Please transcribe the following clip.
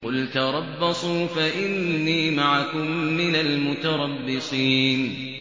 قُلْ تَرَبَّصُوا فَإِنِّي مَعَكُم مِّنَ الْمُتَرَبِّصِينَ